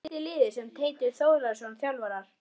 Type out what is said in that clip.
Hvað heitir liðið sem Teitur Þórðarson þjálfar?